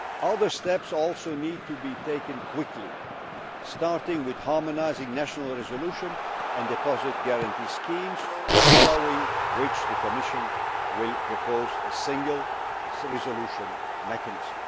Other steps also need to be taken quickly, starting with harmonising national resolution and deposit guarantee schemes, following which the Commission will propose a single resolution mechanism.